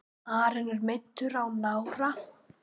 Aron er meiddur á nára.